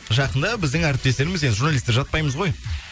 жақында біздің әріптестеріміз енді журналистер жатпаймыз ғой